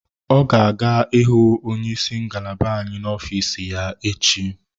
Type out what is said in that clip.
O ga-aga ịhụ onye isi ngalaba anyị n'ofiis ya echi.